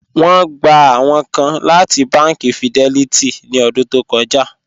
Wọn gbà awọn kàn láti bánkì Fidelity ní ọ̀dún tó kọ́já